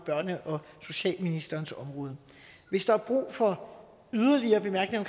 børne og socialministerens område hvis der er brug for yderligere bemærkninger